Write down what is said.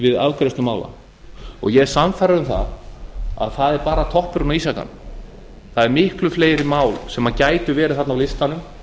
við afgreiðslu mála og ég er sannfærður um að það er bara toppurinn á ísjakanum það eru miklu fleiri mál sem gætu verið þarna á listanum